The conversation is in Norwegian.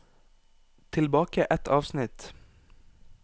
Tilbake ett avsnitt